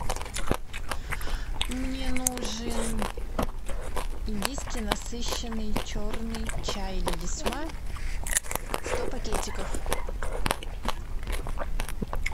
мне нужен индийский насыщенный черный чай лисма сто пакетиков